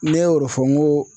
Ne y'o de fɔ n ko